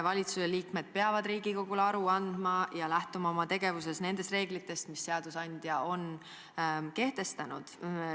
Valitsusliikmed peavad Riigikogule aru andma ja lähtuma oma tegevuses nendest reeglitest, mis seadusandja on kehtestanud.